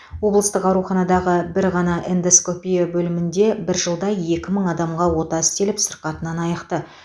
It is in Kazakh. облыстық ауруханадағы бір ғана эндоскопия бөлімінде бір жылда екі мың адамға ота істеліп сырқатынан айықты